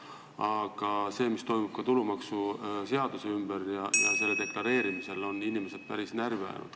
Aga see, mis toimub tulumaksuseaduse ümber ja tulumaksu deklareerimisel, on inimesed päris närvi ajanud.